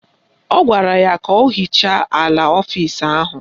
Ọ gwara ya ka o hichaa ala ọfisi ahụ